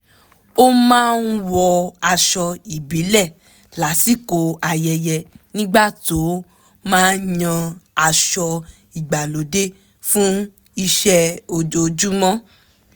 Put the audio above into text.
ó máa ń wọ aṣọ ìbíle lásìkò ayẹyẹ nígbà tó máa ń yan aṣọ ìgbàlódé fún iṣẹ́ ojoojúmọ́